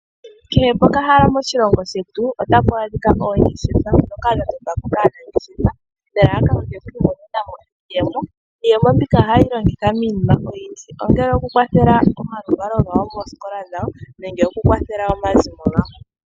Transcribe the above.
Kehe pokahala moshilongo shetu otapu adhika oongeshefa ndhoka dha totwa po kaanangeshefa nelalakano lyoku imonena iiyemo. Iiyemo mbika ohaye yi longitha miinima oyindji ngaashi okukwathela omaluvalo gawo moosikola dhawo nenge okukwathela omazimo gawo.